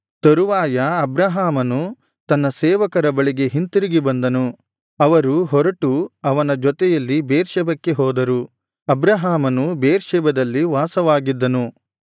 ತರುವಾಯ ಅಬ್ರಹಾಮನು ತನ್ನ ಸೇವಕರ ಬಳಿಗೆ ಹಿಂತಿರುಗಿ ಬಂದನು ಅವರು ಹೊರಟು ಅವನ ಜೊತೆಯಲ್ಲಿ ಬೇರ್ಷೆಬಕ್ಕೆ ಹೋದರು ಅಬ್ರಹಾಮನು ಬೇರ್ಷೆಬದಲ್ಲಿ ವಾಸವಾಗಿದ್ದನು